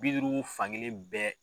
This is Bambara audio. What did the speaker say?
Bi duuru fan kelen bɛɛ